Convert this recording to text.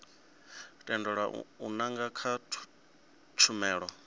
tendelwa u nanga kha tshumelo